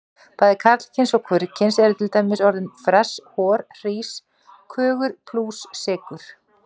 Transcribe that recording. Bæði karlkyns og hvorugkyns eru til dæmis orðin fress, hor, hrís, kögur, plús, sykur.